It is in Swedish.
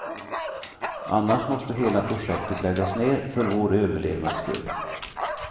Annars måste hela projektet läggas ner, för vår överlevnads skull.